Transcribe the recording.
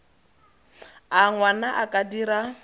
a ngwana a ka dira